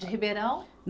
De Ribeirão?